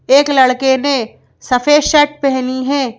एक लड़के ने सफेद शर्ट पहेनी है।